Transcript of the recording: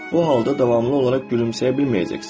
bu halda davamlı olaraq gülümsəyə bilməyəcəksən.